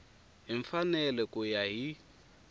hi mfanelo ku ya hi